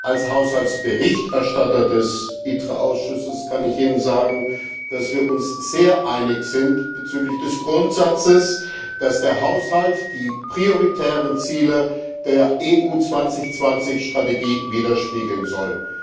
Als Berichterstatter des ITRE Ausschusses kann ich Ihnen sagen, dass wir uns sehr einig sind bezüglich des Grundsatzes, dass der Haushalt die prioritären Ziele der EU 2020 Strategie widerspiegeln soll.